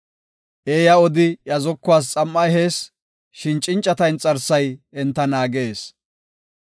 Eeya odi iya zokuwas xam7a ehees; shin cincata inxarsay enta naagees.